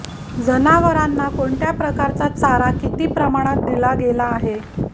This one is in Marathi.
जनावरांना कोणत्या प्रकारचा चारा किती प्रमाणात दिला गेला आहे